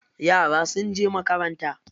Yara sun je makaranta.